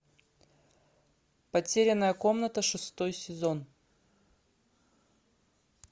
потерянная комната шестой сезон